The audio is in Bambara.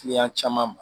Kiliyan caman ma